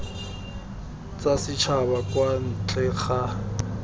tsa setšhaba kwa ntle ga